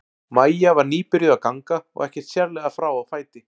Maja var nýbyrjuð að ganga og ekkert sérlega frá á fæti.